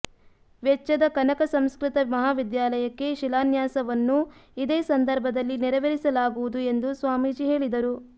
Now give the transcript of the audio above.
ವೆಚ್ಚದ ಕನಕ ಸಂಸ್ಕೃತ ಮಹಾವಿದ್ಯಾಲಯಕ್ಕೆ ಶಿಲಾನ್ಯಾಸವನ್ನೂ ಇದೇ ಸಂದರ್ಭದಲ್ಲಿ ನೆರವೇರಿಸಲಾಗುವುದು ಎಂದು ಸ್ವಾಮೀಜಿ ಹೇಳಿದರು